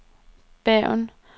Bergen